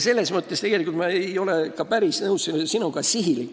Selles mõttes ei ole ma tegelikult sinuga ka päris nõus.